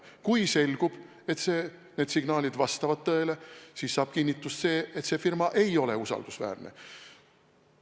Kui selgub, et need signaalid vastavad tõele, siis saab kinnitust, et see firma ei ole usaldusväärne.